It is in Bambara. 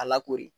A lakoori